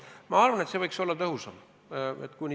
Minagi arvan, et see võiks olla tõhusam.